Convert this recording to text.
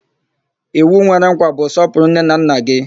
Iwu nwere nkwa bụ 'sọpụrụ nne na nna gị'